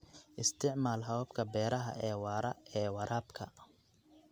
Isticmaal hababka beeraha ee waara ee waraabka.